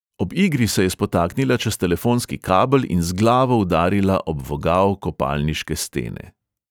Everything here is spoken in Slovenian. Ob igri se je spotaknila čez telefonski kabel in z glavo udarila ob vogal kopalniške stene.